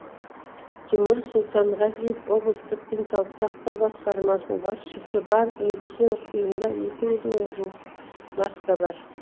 тимур сұлтанғазиев облыстық денсаулық сақтау басқармасының басшысы барлық медициналық ұйымда екі жүз мыңға жуық маска бар